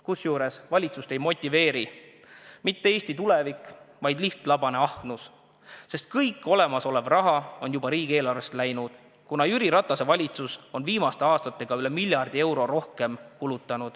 Kusjuures valitsust ei motiveeri mitte Eesti tulevik, vaid lihtlabane ahnus, sest kõik olemasolev raha on juba riigieelarvest läinud, kuna Jüri Ratase valitsus on viimaste aastatega kulutanud üle miljardi euro rohkem.